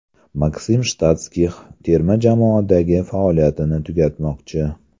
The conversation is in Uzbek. Maksim Shatskix terma jamoadagi faoliyatini tugatmoqchi .